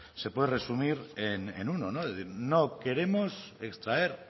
se puede resumir en uno no queremos extraer